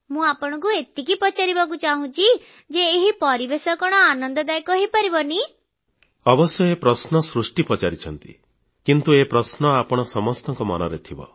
ମୁଁ ଆପଣଙ୍କୁ ଏତିକି ପଚାରିବାକୁ ଚାହୁଁଛି ଯେ ଏହି ପରିବେଶ କଣ ଆନନ୍ଦଦାୟକ ହେଇପାରିବନି ଅବଶ୍ୟ ଏ ପ୍ରଶ୍ନ ସୃଷ୍ଟି ପଚାରିଛନ୍ତି କିନ୍ତୁ ଏ ପ୍ରଶ୍ନ ଆପଣ ସମସ୍ତଙ୍କ ମନରେ ଥିବ